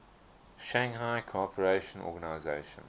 shanghai cooperation organization